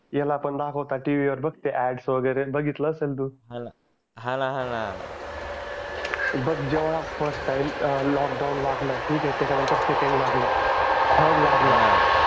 ते अॅड वगरे बघितलं असेल तू हा न हान बघ जेव्हा फर्स्ट टाइम लॉक डाउन लागला ठीक आहे त्याच्या नंतर सेकंड लागलं थर्ड लागल